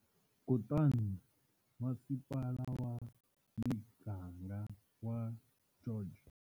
Kutani Masipala wa Miganga wa George.